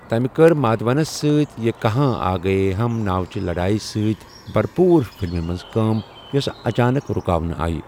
تمہِ كٕر مادھونَس سۭتۍ یہ کہاں آ گئے ہم ناو چہِ لڈایہِ سۭتۍ بھرپوٗر فلمہِ منٛز کٲم ، یوٚسہٕ اچانک رُكاونہٕ آیہ ۔